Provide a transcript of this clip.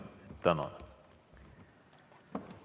Tänan!